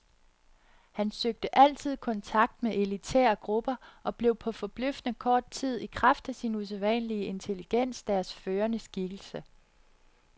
Han søgte altid kontakt med elitære grupper og blev på forbløffende kort tid i kraft af sin usædvanlige intelligens deres førende skikkelse.